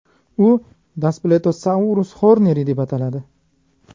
U Daspletosaurus horneri deb ataladi.